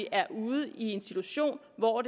er ude i en situation hvor